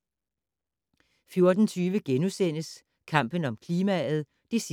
14:20: Kampen om klimaet (3:3)* 15:10: